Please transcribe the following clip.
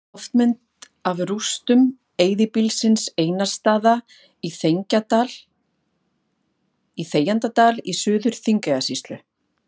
Loftmynd af rústum eyðibýlisins Einarsstaða í Þegjandadal í Suður-Þingeyjarsýslu.